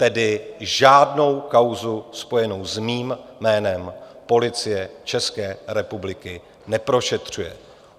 Tedy žádnou kauzu spojenou s mým jménem Policie České republiky neprošetřuje.